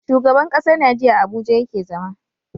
Shugaban ƙasar Nigeria a abuja yake zama